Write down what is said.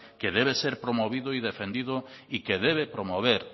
que debe ser promovido y defendido y que debe promover